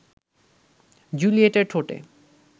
জুলিয়েটের ঠোঁটে